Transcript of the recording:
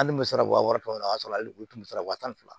Hali muso ka wa wɔɔrɔ o y'a sɔrɔ hali u tun bɛ sara wa tan fila